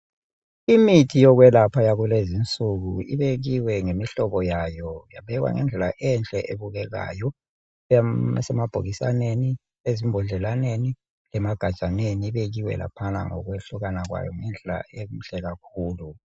Imithi yokwelapha yakulezinsuku ibekiwe ngemihlobo yayo, yabekwa ngendlela enhle ebukekayo. Isemabhokisaneni, ezimbodlalaneni, emagajaneni, ibekiwe laphana ngokwehlukana kwayo ngendlela enhle kakhulu.